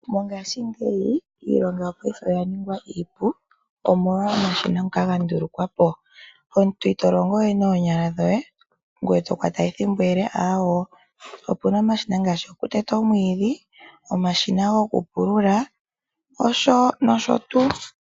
Mongashingeyi iilonga oya ningwa iipu omolwa omashina ngoka ga ndulukwapo omuntu ito longo we noonyala dhoye ngoye to kwata ethimbo ele aawoo. Opuna omashina ngaashi gokuteta oomwiidhi, omashina gokupulula nosho tuu.